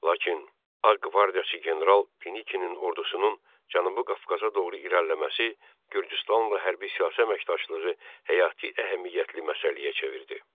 Lakin Ağ qvardiyaçı general Denikinin ordusunun Cənubi Qafqaza doğru irəliləməsi Gürcüstanla hərbi-siyasi əməkdaşlığı həyati əhəmiyyətli məsələyə çevirdi.